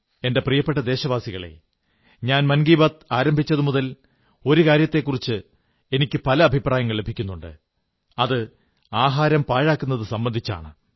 എന്റെ പ്രിയപ്പെട്ട ദേശവാസികളേ ഞാൻ മൻ കീ ബാത് ആരംഭിച്ചതുമുതൽ ഒരു കാര്യത്തെക്കുറിച്ച് എനിക്ക് പല അഭിപ്രായങ്ങൾ ലഭിക്കുന്നുണ്ട് അത് ആഹാരം പാഴാക്കുന്നുതു സംബന്ധിച്ചാണ്